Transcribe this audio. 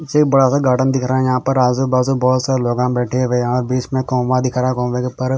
से बड़ा सा गार्डन दिख रहा हैं यहाँ पर आजू बाजू बहुत सा लोगां बैठे हुए यहाँ बीच में कौआ दिख रहा हैं कौए के ऊपर--